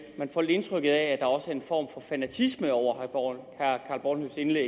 man får lidt indtrykket af at der også er en form for fanatisme over h bornhøfts indlæg